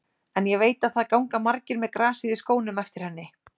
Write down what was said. En ég veit að það ganga margir með grasið í skónum eftir henni.